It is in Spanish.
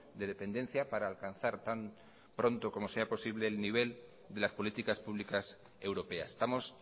de dependencia para alcanzar tan pronto como sea posible el nivel de las políticas públicas europeas estamos